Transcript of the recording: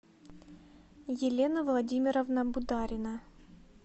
елена владимировна бударина